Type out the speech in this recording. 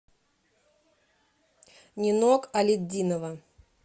нинок алетдинова